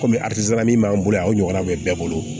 Kɔmi min b'an bolo yan o ɲɔgɔnna bɛ bɛɛ bolo